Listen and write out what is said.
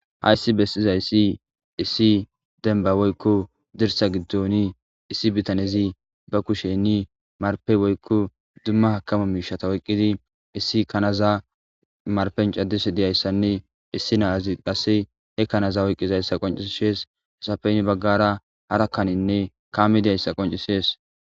ha issi besizayssi issi denba woykko dirsa giddoni issi bitanezi ba kushe ni marpe woykko dumma hakama miishata woyqqidi issi kanaza marpen caddise diyayssanne issi naazi qasse he kanaza woyqqizayssa qoncisshees hesafeynni baggara harakkaninne kaami diyayssa qoncisees